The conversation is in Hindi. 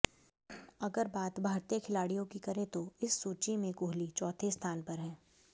अगर बात भारतीय खिलाड़ियों की करें तो इस सूची में कोहली चौथे स्थान पर हैं